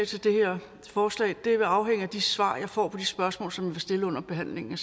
til det her forslag vil afhænge af de svar jeg får på de spørgsmål som jeg vil stille under behandlingen